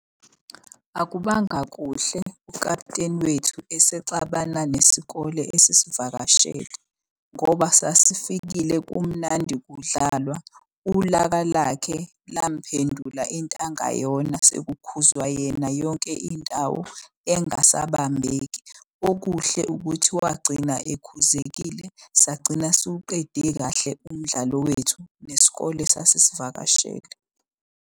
Akubanga kuhle ukaputeni wethu esexabana nesikole ezisivakashele. Ngoba sasifikile kumnandi kudlalwa. Ulaka lakhe lamuphendula into angayona sekukhuzwa yena yonke indawo engasabambeki. Okuhle ukuthi wagcina ekhuzekile, sagcina siwuqede kahle umdlalo wethu nesikole esasisivakashele.